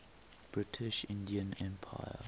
british indian empire